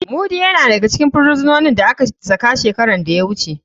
Mudi yana daga cikin firisinonin da aka saka shekaran da ya wuce.